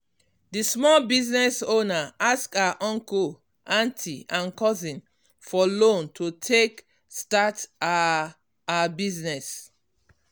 di small business owner ask her uncle aunty and cousin for loan to take start her her business.